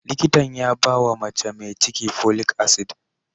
Likitan ya bawa mace mai ciki folic acid.